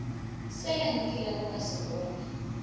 sela nkilego ka se bona